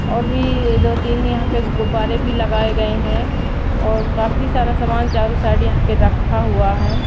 और भी यह दो तीन यहां पे गुब्बारे भी लगाए गए हैं और काफी सारा सामान चारों साइड यहां पे रखा हुआ है।